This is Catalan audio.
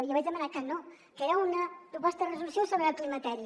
jo vaig demanar que no que era una proposta de resolució sobre el climateri